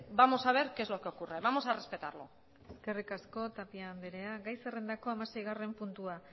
vamos a ver qué es lo que ocurre vamos a respetarlo eskerrik asko tapia anderea gai zerrendako hamaseigarren puntua